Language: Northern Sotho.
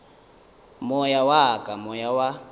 moya wa ka moya wa